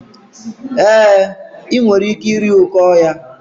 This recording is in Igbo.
E, I nwere ike iri oké ọhịa.